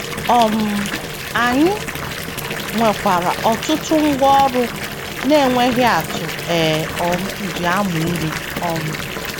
um Anyị nwekwara ọtụtụ ngwá ọrụ na - enweghị atụ e um ji amụ ihe. um